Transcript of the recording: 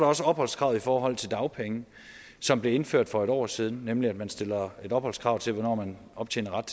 også opholdskravet i forhold til dagpenge som blev indført for et år siden nemlig at man stiller et opholdskrav til hvornår man optjener ret